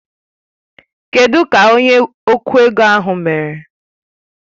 Kedụ ka onye okwụ ego ahụ mere?